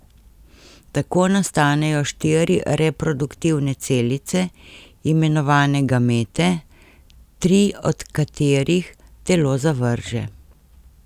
Tako nastanejo štiri reproduktivne celice, imenovane gamete, tri od katerih telo zavrže.